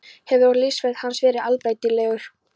Hefur og lífsferill hans verið allbreytilegur.